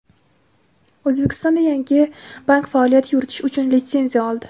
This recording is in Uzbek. O‘zbekistonda yangi bank faoliyat yuritish uchun litsenziya oldi.